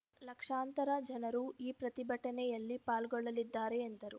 ಲಕ್ಷಾಂತರ ಜನರು ಈ ಪ್ರತಿಭಟನೆಯಲ್ಲಿ ಪಾಲ್ಗೊಳ್ಳಲಿದ್ದಾರೆ ಎಂದರು